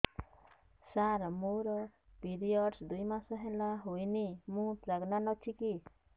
ସାର ମୋର ପିରୀଅଡ଼ସ ଦୁଇ ମାସ ହେଲା ହେଇନି ମୁ ପ୍ରେଗନାଂଟ ଅଛି କି